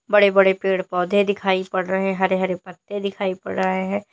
बड़े बड़े पेड़ पौधे दिखाई पड़ रहे हरे हरे पत्ते दिखाई पड़ रहे हैं।